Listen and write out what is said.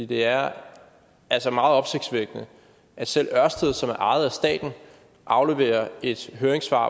det er altså meget opsigtsvækkende at selv ørsted som er ejet af staten afleverer et høringssvar